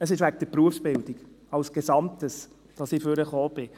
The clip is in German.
» Es ist wegen der Berufsbildung als Gesamtes, dass ich nach vorne gekommen bin.